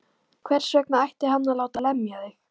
Hvers vegna ætti hann að láta lemja þig?